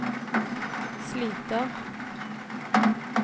sliter